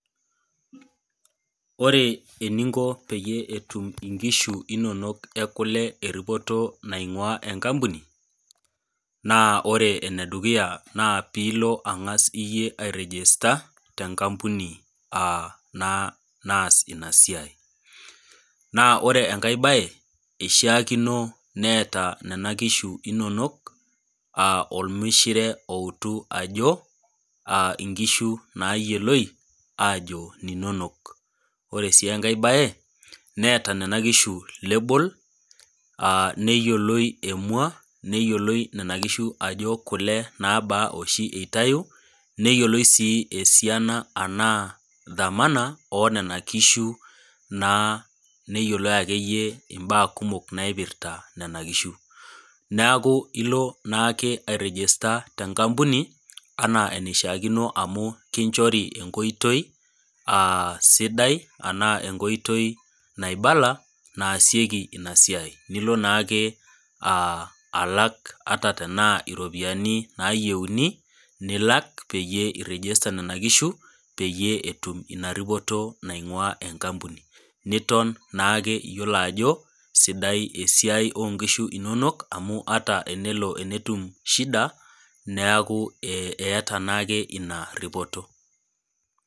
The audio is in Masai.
Ore eninko peyie etum inkishu inonok ekule eripoto naingua enkampuni ,naa ore ene dukuya naa pee ilo iyieu angas airegesta tenkampuni naa naas ina siai ,naa ore sii enkae bae eishaakino neeta nena kishu inonok ormishire outu ajo nkishu nayioloi ajo ninonok. ore sii enkae bae neta nena kishu lebol neyioloi emua ,neyioloi Nena kishu ajo kule naaba oshi eitayu ,neyiloloi sii thamani ashu esiana onena kishu naa neyioloi mbaa kumok naipirta nena kishu. neeku ilo naake airegester tenkampuni amu kinchori enkoitoi sidai anaa naibala naasikoi ina siai ,nilo naake alak ata tena ropiyiani nayieuni nilak peyie iregesta nena kishu peyie etum inaripoto naingua enkampuni niton naake iyiolo ajo sidai esiai oonkishu inonok amu ata tenelo netum shida neeku eeta naake ina ripoto.